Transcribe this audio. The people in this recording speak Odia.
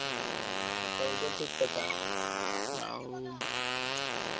ହୁଁ ହୁଁ ହୁଁ ସେଇଟା ଠିକ୍ କଥା ଆଉ